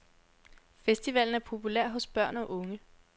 Festivalen er populær hos børn og unge.